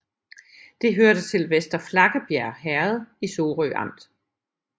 Det hørte til Vester Flakkebjerg Herred i Sorø Amt